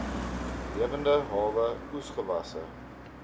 lewende hawe oesgewasse